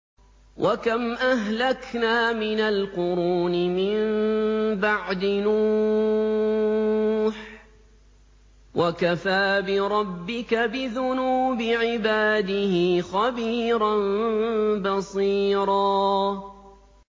وَكَمْ أَهْلَكْنَا مِنَ الْقُرُونِ مِن بَعْدِ نُوحٍ ۗ وَكَفَىٰ بِرَبِّكَ بِذُنُوبِ عِبَادِهِ خَبِيرًا بَصِيرًا